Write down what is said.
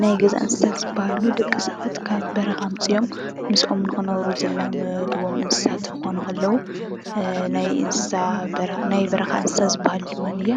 ናይ ገዛ እንስሳታት ዝበሃሉ ደቂ ሰባት ካብ በረካ ኣምፅኦም ምስኦም ንክነብሩ ዝላመዱዎም እንስሳ እንትኮኑ ከለዉ ናይ በረካ እንስሳ ዝበሃሉ ድማነየ